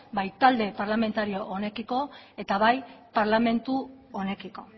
bai talde parlamentario honekiko eta bai parlamentu honekiko